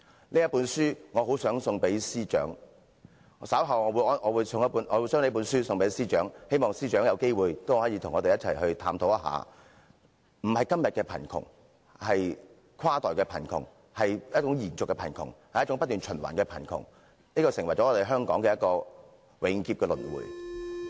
我很想把這本書送給司長，我稍後會把這本書送給司長，希望司長有機會也可以與我們一起探討，並非今天的貧窮，而是跨代貧窮，一種延續的貧窮，一種不斷循環的貧窮，成為香港永劫的輪迴。